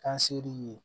Kan se'i ye